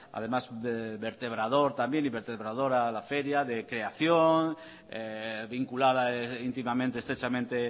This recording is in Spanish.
además de vertebrador también y vertebradora la feria de creación vinculada íntimamente estrechamente